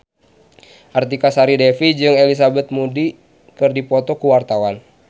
Artika Sari Devi jeung Elizabeth Moody keur dipoto ku wartawan